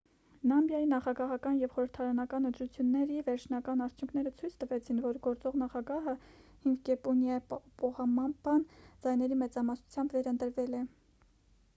նամիբիայի նախագահական և խորհրդարանական ընտրությունների վերջնական արդյունքները ցույց տվեցին որ գործող նախագահը հիֆիկեպունյե պոհամբան ձայների մեծամասնությամբ վերընտրվել է